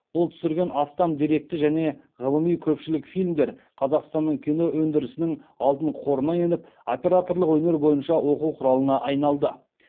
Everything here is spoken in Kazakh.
ол түсірген астам деректі және ғылыми көпшілік фильмдер қазақстанның кино өндірісінің алтын қорына еніп операторлық өнер бойынша оқу құралына айналды